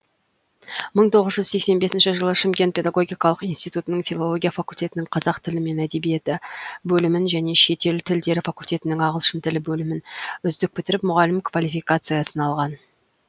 мың тоғыз жүз сексен бесінші жылы шымкент педагогикалық институтының филология факультетінің қазақ тілі мен әдебиеті бөлімін және шетел тілдері факультетінің ағылшын тілі бөлімін үздік бітіріп мұғалім квалификациясын алған